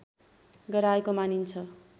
गराएको मानिन्छ